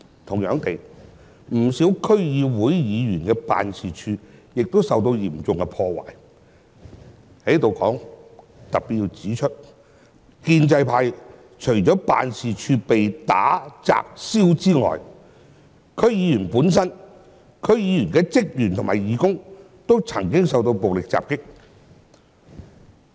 同樣地，不少區議會議員的辦事處亦受到嚴重破壞。就此，我要特別指出，建制派除了辦事處被打、砸、燒外，區議員本身、區議員的職員和義工均曾經受到暴力襲擊。